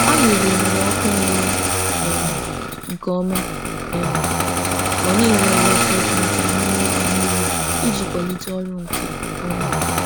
Anyị rụnyere ọkụ na-enwu um nke ọma um ma na-ewe eletrik nta n'ime ụlọ niile iji kwalite ịrụ ọrụ nke ọma.